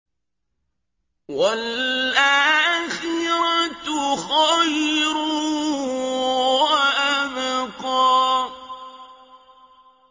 وَالْآخِرَةُ خَيْرٌ وَأَبْقَىٰ